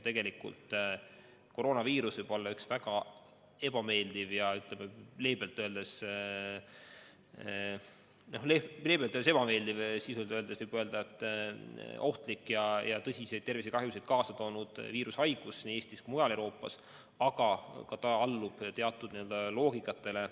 Koroonaviirus on leebelt öeldes väga ebameeldiv viirus, sisuliselt öeldes aga ohtlik ja tõsiseid tervisekahjusid kaasa toonud viirus nii Eestis kui mujal Euroopas, aga ta allub teatud loogikale.